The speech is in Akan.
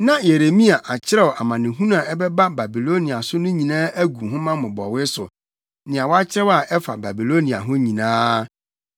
Na Yeremia akyerɛw amanehunu a ɛbɛba Babilonia so no nyinaa agu nhoma mmobɔwee so, nea wakyerɛw a ɛfa Babilonia ho nyinaa.